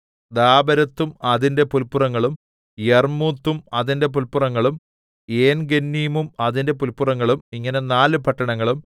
ദാബെരത്തും അതിന്റെ പുല്പുറങ്ങളും യർമ്മൂത്തും അതിന്റെ പുല്പുറങ്ങളും ഏൻഗന്നീമും അതിന്റെ പുല്പുറങ്ങളും ഇങ്ങനെ നാല് പട്ടണങ്ങളും